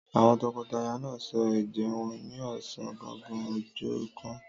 Àwọn tọkọtaya náà sọ ẹ̀jẹ́ wọn ní ọ̀sán gangan ọjọ́ kan.